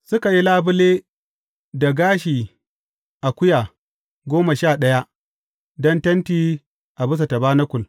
Suka yi labule da gashi akuya goma sha ɗaya don tenti a bisa tabanakul.